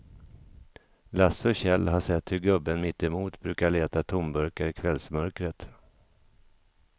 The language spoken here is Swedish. Lasse och Kjell har sett hur gubben mittemot brukar leta tomburkar i kvällsmörkret.